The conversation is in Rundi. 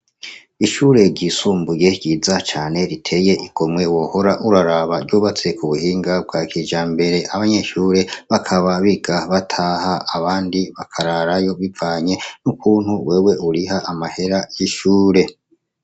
Ishure ry'isumbuye ryiza cane riteye igomwe wohora uraraba. Ryubatse k'ubuhinga bwa kijambere. Abanyeshure bakaba biga bataha, abandi bakararayo bivanye n'ukuntu wewe uriha amahera y'ishure.